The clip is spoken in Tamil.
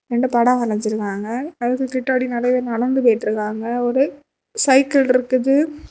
ரெண்டு படம் வராஞ்சுருக்காங்க அதுக்கு கிட்டாடி நெறைய பேர் நடந்து போயிட்டிருக்காங்க ஒரு சைக்கிள் இருக்குது.